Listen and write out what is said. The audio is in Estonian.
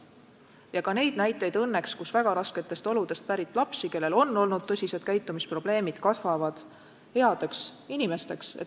Ja õnneks on ka näiteid, et väga rasketest oludest pärit lapsed, kellel on olnud tõsised käitumisprobleemid, võivad kasvada headeks inimesteks.